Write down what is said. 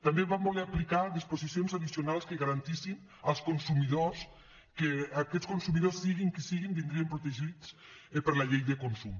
també vam voler aplicar disposicions addicionals que garantissin als consumidors que aquests consumidors siguin qui siguin vindrien protegits per la llei de consum